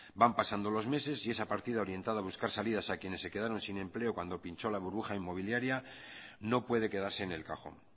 van pasando los meses y esa partida orientada a buscar salidas a quienes se quedaron sin empleo cuando pinchó la burbuja inmobiliaria no puede quedarse en el cajón